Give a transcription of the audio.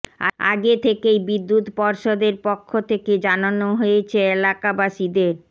আগেই থেকেই বিদুৎ পর্ষদের পক্ষ থেকে জানানো হয়েছে এলাকাবাসীদের